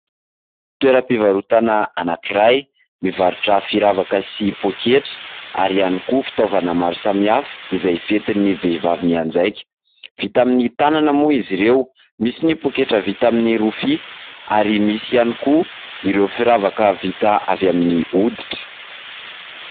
Toeram-pivarotana anankiray mivarotra firavaka sy poketra ary ihany koa fitaovana maro samihafa izay fientin'ny vehivavy mianjaika. Vita amin'ny tanana moa izy ireo. Misy ny poketra vita amin'ny rofia ary misy ihany koa ireo firavaka vita avy amin'ny hoditra.